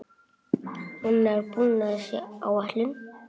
Annar búnaður sé á áætlun.